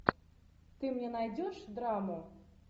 ты мне найдешь драму